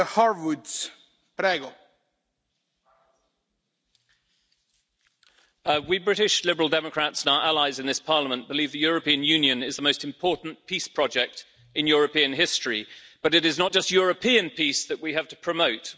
Mr President, we British Liberal Democrats and our allies in this Parliament believe the European Union is the most important peace project in European history, but it is not just European peace that we have to promote.